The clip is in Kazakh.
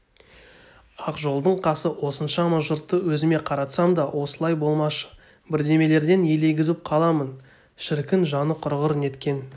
ақжолдың қасы осыншама жұртты өзіме қаратсам да осылай болмашы бірдемелерден елегізіп қаламын шіркін жаны құрғыр неткен